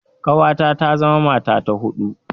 Ƙawata za ta zama mata ta huɗu.